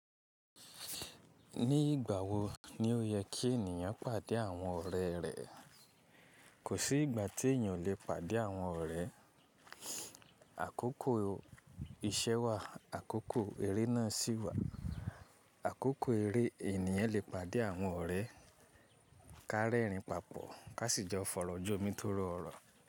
Ní ìgbà wo ni ó yẹ kí ènìyàn pàdé àwọn ọ̀rẹ́ rẹ̀? Kò sí ìgbà tí ènìyàn ò lè pàdé àwọn ọ̀rẹ́. Àkókò iṣẹ́ wà, àkókò eré náà sì wà. Àkókò eré ènìyàn lè pàdé àwọn ọ̀rẹ́, kárẹ́rìn papọ̀, ká sì jọ fọ̀rọ̀ jọ́ òmi tó rọ orọ̀.